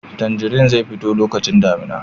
Tanjari zai fito lokacin damina